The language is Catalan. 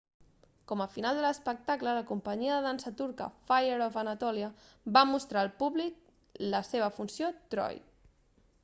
com a final de l'espectacle la companyia de dansa turca fire of anatolia va mostrar al públic la seva funció troy